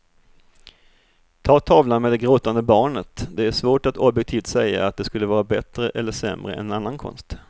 Ta tavlan med det gråtande barnet, det är svårt att objektivt säga att den skulle vara bättre eller sämre än annan konst.